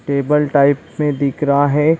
Table type में दिख रहा है।